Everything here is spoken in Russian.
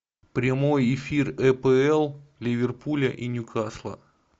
прямой эфир апл ливерпуля и ньюкасла